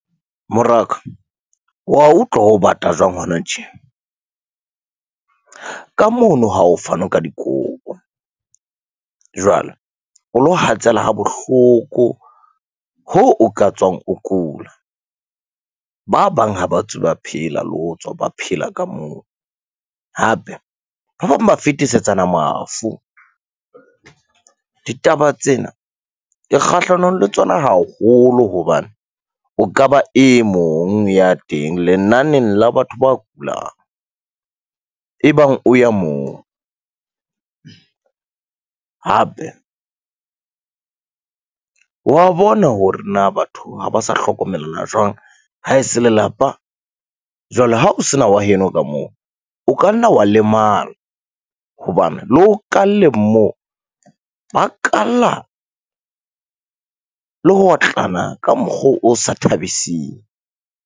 Moraka wa utlwa ho bata jwang hona tje? Ka mono ha ho fanwe ka dikobo, jwale o lo hatsela ha bohloko ho o ka tswang o kula. Ba bang ha ba tswe ba phela le ho tswa ba phela ka moo hape ba bang ba fetisetsana mafu. Ditaba tsena ke kgahlanong le tsona haholo hobane o ka ba e mong ya teng lenaneng la batho ba kulang, e bang o ya moo. Hape wa bona hore na batho ha ba sa hlokomellwa jwang ha e se lelapa. Jwale ha o se na wa heno ka moo, o ka nna wa lemala hobane le ho kalleng moo ba kalla le ho otlana ka mokgwa o sa thabising.